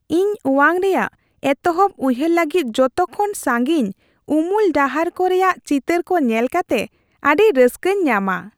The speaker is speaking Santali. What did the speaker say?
ᱤᱧ ᱚᱣᱟᱝ ᱨᱮᱭᱟᱜ ᱮᱛᱚᱦᱚᱵ ᱩᱭᱦᱟᱹᱨ ᱞᱟᱹᱜᱤᱫ ᱡᱚᱛᱚ ᱠᱷᱚᱱ ᱥᱟᱸᱜᱤᱧ ᱩᱢᱩᱞ ᱰᱟᱦᱟᱨ ᱠᱚ ᱨᱮᱭᱟᱜ ᱪᱤᱛᱟᱹᱨ ᱠᱚ ᱧᱮᱞ ᱠᱟᱛᱮ ᱟᱹᱰᱤ ᱨᱟᱹᱥᱠᱟᱹᱧ ᱧᱟᱢᱟ ᱾